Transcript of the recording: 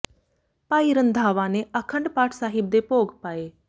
ਭਾਈ ਰੰਧਾਵਾ ਨੇ ਆਖੰਡ ਪਾਠ ਸਾਹਿਬ ਦੇ ਭੋਗ ਪਾਏ